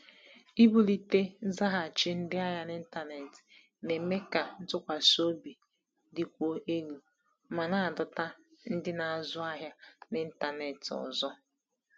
Ibulite nzaghachi ndị ahịa n’ịntanetị na-eme ka ntụkwasị obi dịkwuo elu ma na-adọta ndị na-azụ ahịa n’ịntanetị ọzọ.